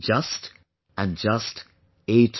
Just and just 8%